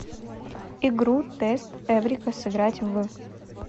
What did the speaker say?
игру тест эврика сыграть в